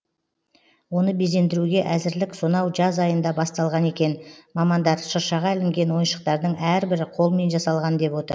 оны безендіруге әзірлік сонау жаз айында басталған екен мамандар шыршаға ілінген ойыншықтардың әрбірі қолмен жасалған деп отыр